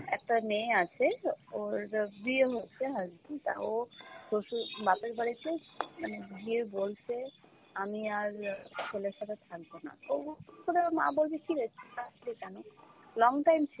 একটা মেয়ে আছে ওর বিয়ে হচ্ছে husband, তা ও শ্বশুর, বাপের বাড়িতে, মানে গিয়ে বলছে আমি আর ছেলের সাথে থাকবো না। ও হুট করে ওর মা বলছে, কী রে তুই আসলি কেনো? long time ছিল।